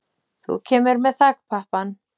Þú kemur með þakpappann.